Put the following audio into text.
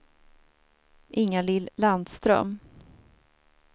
Inga-Lill Landström